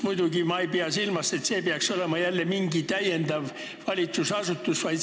Muidugi ma ei pea silmas mingit täiendavat valitsusasutust.